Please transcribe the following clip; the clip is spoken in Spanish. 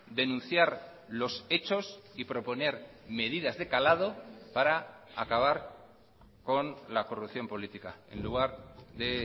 denunciar los hechos y proponer medidas de calado para acabar con la corrupción política en lugar de